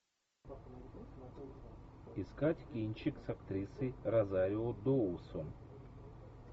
искать кинчик с актрисой розарио доусон